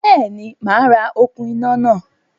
Béèni, màá ra okún iná náà